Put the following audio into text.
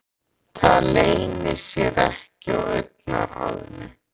Það leynir sér ekki á augnaráðinu.